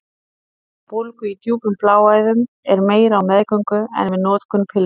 Hætta á bólgu í djúpum bláæðum er meiri á meðgöngu en við notkun pillunnar.